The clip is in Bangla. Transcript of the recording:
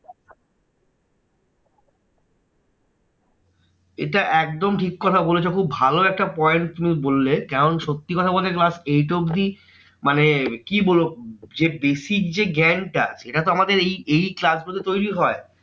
এটা একদম ঠিক কথা বলেছো, খুব ভালো একটা point তুমি বললে। কারণ সত্যি কথা বলতে class eight অব্ধি মানে কি বলবো, যে basic যে জ্ঞানটা এটা তো আমাদের এই এই class গুলোতে তৈরী হয়।